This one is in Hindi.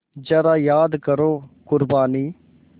ज़रा याद करो क़ुरबानी